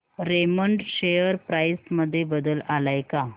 Raymond share price मध्ये बदल आलाय का